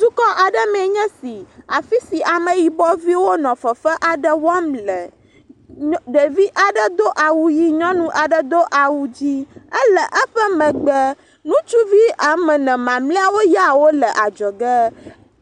dukɔɖe meɛ nye si afisi ameyibɔviwo nɔ fefe aɖe wɔm le ɖevi aɖe dó awu yi nyɔnu aɖe dó awu dzĩ éle eƒe megbe ŋutsuvi wɔmene mamliawo ya wóle adzɔge